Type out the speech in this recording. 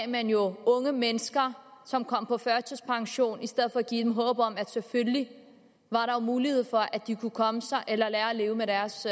man jo unge mennesker som kom på førtidspension i stedet for at give dem håb om at der selvfølgelig var mulighed for at de kunne komme sig eller lære at leve med deres